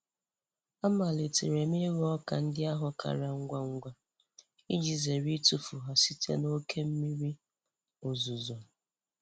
Amalitele m ighọ ọka ndị ahụ kara ngwa ngwa iji zere itufu ha site n'oke mmiri ozuzo.